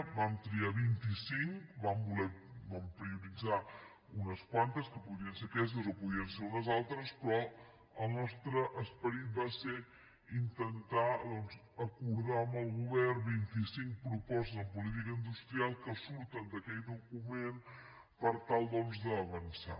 en vam triar vint i cinc vam prioritzar ne unes quantes que podrien ser aquestes o podrien ser unes altres però el nostre esperit va ser intentar doncs acordar amb el govern vint i cinc propostes en política industrial que surten d’aquell document per tal doncs d’avançar